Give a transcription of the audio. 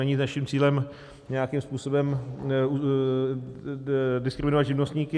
Není naším cílem nějakým způsobem diskriminovat živnostníky.